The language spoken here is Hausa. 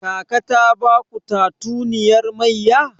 Kaka ta baku tatuniyar mayya?